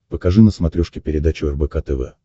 покажи на смотрешке передачу рбк тв